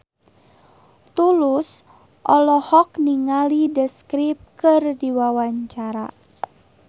Tulus olohok ningali The Script keur diwawancara